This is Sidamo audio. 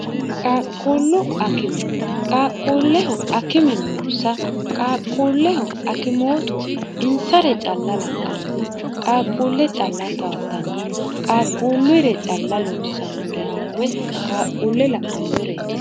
qaaqquullu akimi qaaqquulleho akime noonsa qaaqquulleho akimootu insare calla la'anno qaaqquulle calla tawattanno qaaqquulluyire calla loossannurenna we qaaqquulle la'annureeti